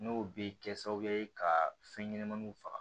N'o bɛ kɛ sababu ye ka fɛn ɲɛnɛmaniw faga